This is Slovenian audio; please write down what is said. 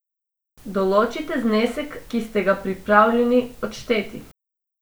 Določite znesek, ki ste ga pripravljeni odšteti.